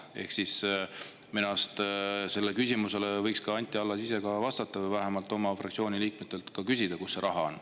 Ehk siis minu arust sellele küsimusele võiks Anti Allas ise vastata või vähemalt oma fraktsiooni liikmetelt küsida, kus see raha on.